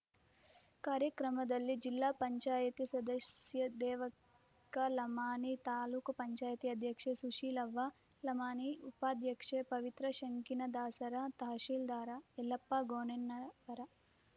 ಕಾರ್ಯಕ್ರಮದಲ್ಲಿ ಜಿಲ್ಲಾ ಪಂಚಾಯತ ಸದಸ್ಯ ದೇವಕ್ಕ ಲಮಾಣಿ ತಾಲೂಕು ಪಂಚಾಯಿತಿ ಅಧ್ಯಕ್ಷೆ ಸುಶೀಲವ್ವ ಲಮಾಣಿ ಉಪಾಧ್ಯಕ್ಷೆ ಪವಿತ್ರ ಶಂಕಿನದಾಸರ ತಹಶೀಲ್ದಾರ ಯಲ್ಲಪ್ಪ ಗೋಣೆಣ್ಣವರ